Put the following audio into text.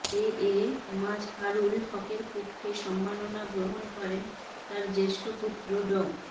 এএ মাজহারুল হকের পক্ষে সম্মাননা গ্রহণ করেন তার জেষ্ঠ্যপুত্র ড